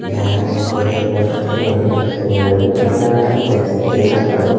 जा रहे brother road पे और उधर से गाड़ी आ रहा है देख सकते है।